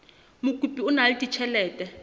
mokopi o na le ditjhelete